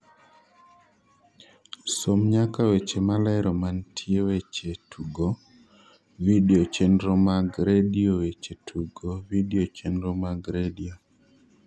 som nyaka weche malero mantie weche tugo vidio chenro mag redio weche tugo vidio chenro mag redio